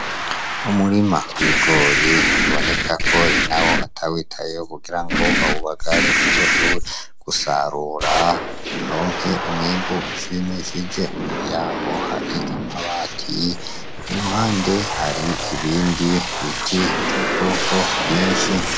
Umurima w'ibigori biboneka ko nyenewo atawitayeho kugirango awubagare azoshobore gusarura aronke umwimbu ushimishije, imbere yawo hari amabati, iruhande hari ibindi biti vy'ubwoko bwinshi.